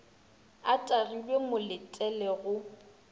a tagilwe mo letele go